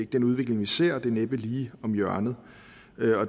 den udvikling vi ser og den er næppe lige om hjørnet